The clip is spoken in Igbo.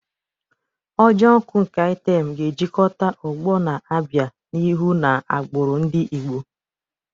Ojo nkwu nke item ga-ejikọta ọgbọ na-abịa n'ihu na agbụrụ ndị Igbo.